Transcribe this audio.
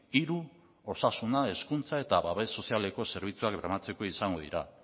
hiru osasuna hezkuntza eta babes sozialeko zerbitzuak bermatzeko izango dira